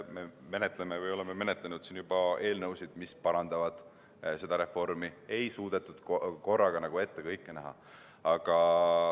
Me oleme saalis juba menetlenud eelnõusid, mis seda reformi parandavad, sest kõike ei suudetud korraga ette näha.